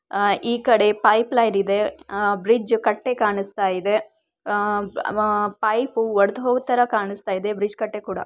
ಆ ಈ ಕಡೆ ಪೈಪ್ ಲೈನ್ ಇದೆ ಬ್ರಿಡ್ಜ್ ಕಟ್ಟೆ ಕಾಣಿಸುತ್ತಿದೆ ಆಹ್ ಪೈಪು ಒಡೆದು ಹೋಗಿರೋ ತರ ಕಾಣಿಸುತ್ತಿದೆ ಬ್ರಿಡ್ಜ್ ಕಟ್ಟೆ ಕೂಡ.